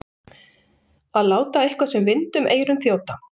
Að láta eitthvað sem vind um eyrun þjóta